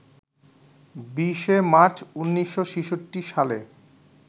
২০শে March ১৯৬৬ সালে